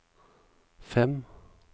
fem